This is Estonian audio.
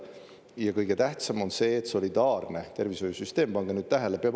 Ja kõige tähtsam on see, et solidaarne tervishoiusüsteem – pange nüüd tähele!